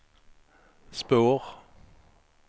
spår